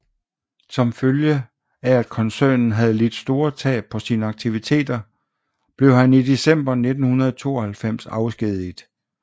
Som følge af at koncernen havde lidt store tab på sine aktiviteter blev han i december 1992 afskediget